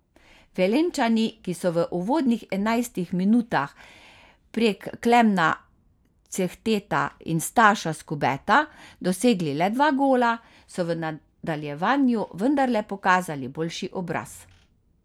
Velenjčani, ki so v uvodnih enajstih minutah prek Klemna Cehteta in Staša Skubeta dosegli le dva gola, so v nadaljevanju vendarle pokazali boljši obraz.